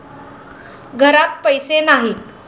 घरात पैसे नाहीत.